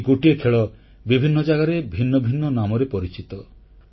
ସେହି ଗୋଟିଏ ଖେଳ ବିଭିନ୍ନ ଜାଗାରେ ଭିନ୍ନ ଭିନ୍ନ ନାମରେ ପରିଚିତ